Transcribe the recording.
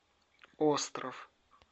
остров